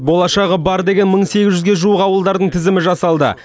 болашағы бар деген мың сегіз жүзге жуық ауылдардың тізімі жасалды